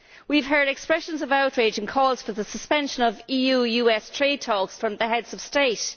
We have heard expressions of outrage and calls for the suspension of EU US trade talks from the Heads of States.